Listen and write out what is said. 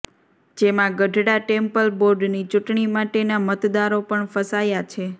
જેમાં ગઢડા ટેમ્પલ બોર્ડની ચૂંટણી માટેના મતદારો પણ ફસાયા છે